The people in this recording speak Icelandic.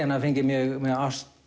hann hafi fengið mjög